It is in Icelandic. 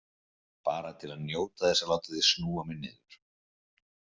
Bara til að njóta þess að láta þig snúa mig niður.